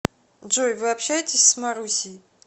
джой вы общаетесь с марусей